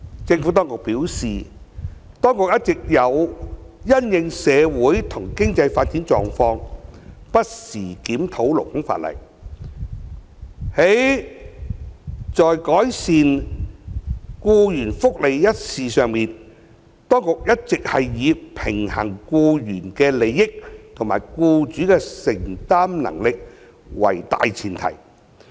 政府當局表示，當局一直有因應社會和經濟發展狀況，不時檢討勞工法例。而在改善僱員福利一事上，當局一向以平衡僱員的利益和僱主的承擔能力為大前提。